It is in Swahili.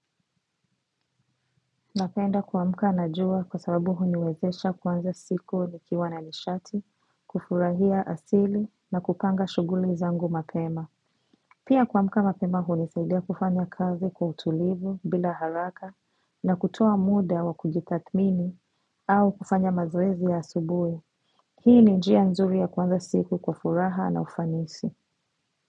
Napenda kuamka na jua kwa sababu huniwezesha kuanza siku nikiwa na nishati, kufurahia asili na kupanga shuguli zangu mapema. Pia kuamka mapema hunisaidia kufanya kazi kwa utulivu bila haraka na kutoa muda wa kujitathmini au kufanya mazoezi ya asubuhi. Hii ni njia nzuri ya kuanza siku kwa furaha na ufanisi.